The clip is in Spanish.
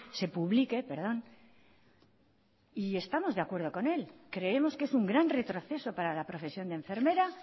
se publique perdón y estamos de acuerdo con él creemos que es un gran retroceso para la profesión de enfermera